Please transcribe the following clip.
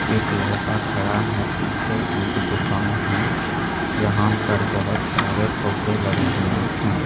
एक लड़का खड़ा है पीछे एक दुकान है यहां पर बहुत सारे फोक्के लगे हुए हैं।